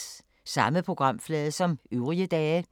Samme programflade som øvrige dage